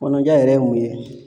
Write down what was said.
Kɔnɔja yɛrɛ ye mun ye?